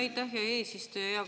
Aitäh, hea eesistuja!